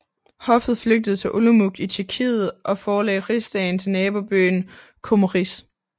Hoffet flygtede til Olomouc i Tjekkiet og forlagde Rigsdagen til nabobyen Kromeríž